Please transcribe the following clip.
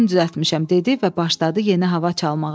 Özüm düzəltmişəm, dedi və başladı yeni hava çalmağa.